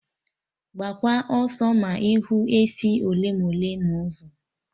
Gbaakwa ọsọ ma ịhụ efi ole ma ole n'ụzọ